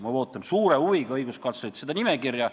Ma ootan suure huviga õiguskantslerilt seda nimekirja.